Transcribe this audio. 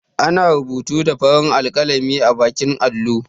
Ana rubutu da farin alƙalami a baƙin allo